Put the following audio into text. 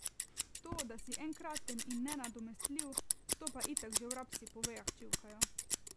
To, da si enkraten in nenadomestljiv, to pa itak že vrabci po vejah čivkajo.